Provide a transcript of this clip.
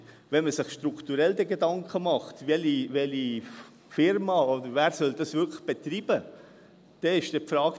Wenn man sich strukturell Gedanken dazu macht, welche Firma oder wer das wirklich betreiben soll, dann ist die Frage: